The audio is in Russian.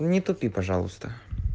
не тупи пожалуйста